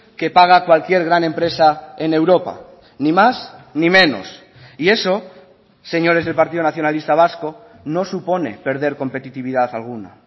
que paga cualquier gran empresa en europa ni más ni menos y eso señores del partido nacionalista vasco no supone perder competitividad alguna